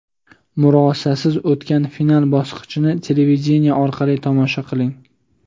murosasiz o‘tgan final bosqichini televideniye orqali tomosha qiling.